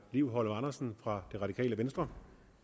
liv holm andersen fra det radikale venstre